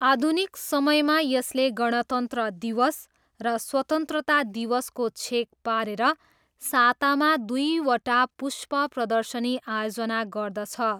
आधुनिक समयमा यसले गणतन्त्र दिवस र स्वतन्त्रता दिवसको छेक पारेर सातामा दुईवटा पुष्प प्रदर्शनी आयोजना गर्दछ।